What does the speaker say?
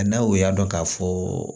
N'a o y'a dɔn k'a fɔ